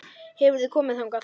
Hefurðu komið þangað?